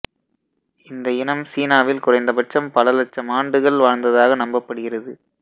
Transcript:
இந்த இனம் சீனாவில் குறைந்தபட்சம் பல இலட்சம் ஆண்டுகள் வாழ்ந்ததாக நம்பப்படுகிறது